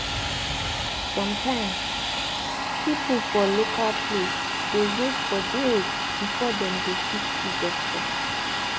sum tyms pipu for local place dey wait for days before dem go fit see doctor